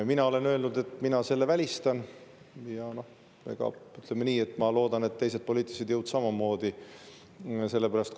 Mina olen öelnud, et mina selle välistan, ja ma loodan, et teised poliitilised jõud samamoodi.